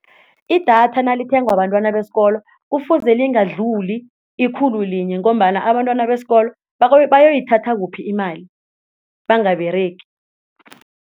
Idatha nalithengwa bentwana besikolo kufuze lingadluli ikhulu linye ngombana abantwana besikolo bayoyithatha kuphi imali bangaberegi.